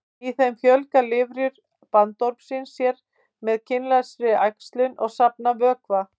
Í þeim fjölga lirfur bandormsins sér með kynlausri æxlun og safna vökva.